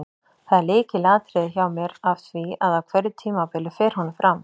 Það er lykilatriði hjá mér af því að á hverju tímabili fer honum fram.